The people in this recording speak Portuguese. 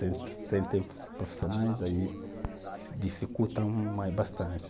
Sem ter profissionais aí dificulta bastante.